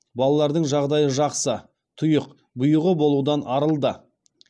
балалардың жағдайы жақсы тұйық бұйығы болудан арылды